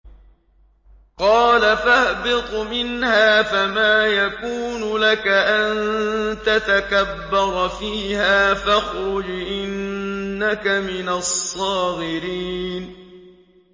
قَالَ فَاهْبِطْ مِنْهَا فَمَا يَكُونُ لَكَ أَن تَتَكَبَّرَ فِيهَا فَاخْرُجْ إِنَّكَ مِنَ الصَّاغِرِينَ